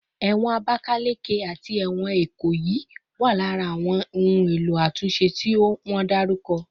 Ewon Abakaleke ati ewon Ikoyi wa lara awon ohun elo atunse ti won daruko